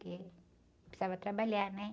Porque precisava trabalhar, né?